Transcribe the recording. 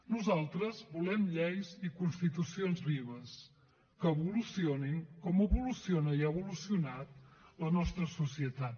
nosaltres volem lleis i constitucions vives que evolucionin com evoluciona i ha evolucionat la nostra societat